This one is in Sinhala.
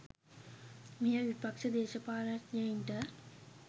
මෙය විපක්ෂ දේශපාලඥයින්ට